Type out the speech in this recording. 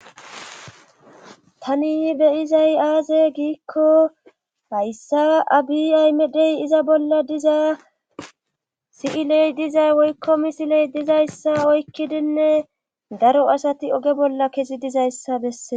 Tani be7izay aaze giikko hayssa abi ahimedey iza bolla diza si7iley diza woyllo misiley diza oykkidinne daro asati oge bolla kezi dizayssa bessees.